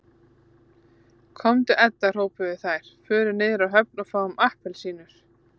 Komdu Edda hrópuðu þær, förum niður á höfn og fáum APPELSÍNUR